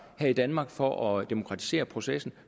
her i danmark for at demokratisere processen